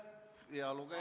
Aitäh!